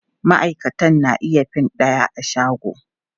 Maʼaikatan na iya fin ɗaya a shago.